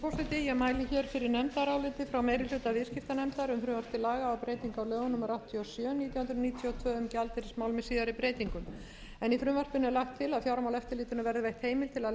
laga um breytingar á lögum númer áttatíu og sjö nítján hundruð níutíu og tvö um gjaldeyrismál með síðari breytingum í frumvarpinu er lagt til að fjármálaeftirlitinu verði veitt heimild til að